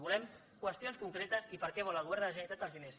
volem qüestions concretes i per a què vol el govern de la generalitat els diners